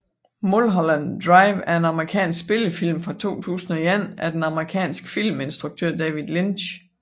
Mulholland Drive er en amerikansk spillefilm fra 2001 af den amerikanske filminstruktør David Lynch